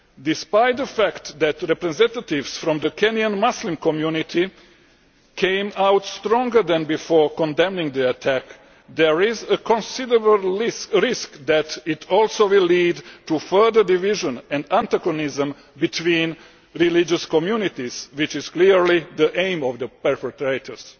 Despite the fact that representatives from the Kenyan Muslim community came out stronger than before condemning the attack, there is a considerable risk that it also will lead to further division and antagonism between religious communities, which is clearly the aim of the perpetrators.